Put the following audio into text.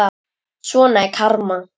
Svona er karma.